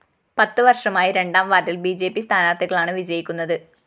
പത്ത് വര്‍ഷമായി രണ്ടാംവാര്‍ഡില്‍ ബി ജെ പി സ്ഥാനാര്‍ത്ഥികളാണ് വിജയിക്കുന്നത്